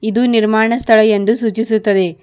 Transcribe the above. ಇದು ನಿರ್ಮಾಣ ಸ್ಥಳ ಎಂದು ಸೂಚಿಸುತ್ತದೆ.